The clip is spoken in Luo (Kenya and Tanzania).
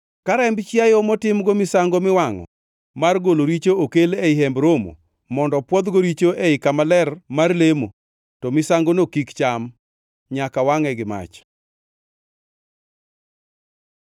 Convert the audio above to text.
Ka remb chiayo motimgo misango miwangʼo mar golo richo okel ei Hemb Romo mondo pwodhgo richo ei Kama Ler mar lemo, to misangono kik cham; nyaka wangʼe gi mach.